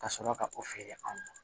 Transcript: Ka sɔrɔ ka o feere anw ma